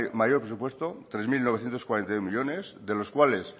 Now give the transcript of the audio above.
mayor presupuesto tres mil novecientos cuarenta y dos millónes de los cuales